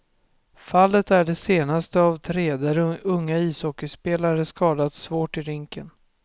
Fallet är det senaste av tre där unga ishockeyspelare skadats svårt i rinken.